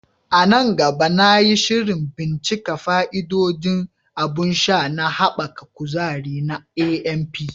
A nan gaba, na yi shirin bincika fa'idodin abun sha na haɓaka kuzari na AMP.